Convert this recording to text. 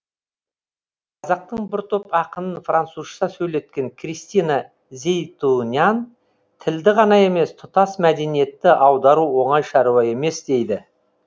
қазақтың бір топ ақынын французша сөйлеткен кристина зейтунян тілді ғана емес тұтас мәдениетті аудару оңай шаруа емес дейді